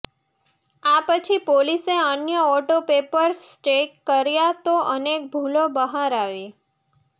આ પછી પોલીસે અન્ય ઓટો પેપર્સ ચેક કર્યા તો અનેક ભૂલો બહાર આવી